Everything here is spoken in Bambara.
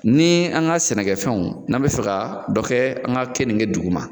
Ni an ka sɛnɛfɛnw ,n'an bɛ fɛ ka dɔ kɛ an ka kenike duguma